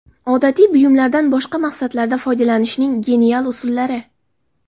Odatiy buyumlardan boshqa maqsadlarda foydalanishning genial usullari .